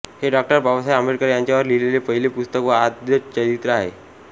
हे डॉ बाबासाहेब आंबेडकर यांच्यावर लिहिलेले पहिले पुस्तक व आद्यचरित्र आहे